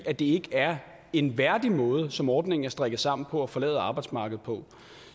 at det ikke er en værdig måde som ordningen er strikket sammen på at forlade arbejdsmarkedet på